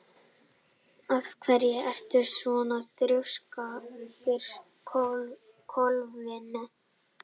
Af hverju ertu svona þrjóskur, Kolfinna?